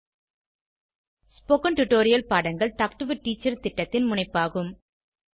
spoken tutorial பாடங்கள் talk to a teacher திட்டத்தின் முனைப்பாகும்